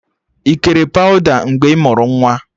Ị kere pawụda mgbe ị mụrụ nwa?